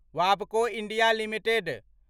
वाबको India limited